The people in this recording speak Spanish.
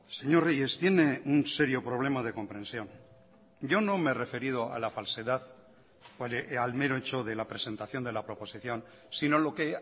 señor reyes tiene un serio problema de comprensión yo no me he referido a la falsedad al mero hecho de la presentación de la proposición si no lo que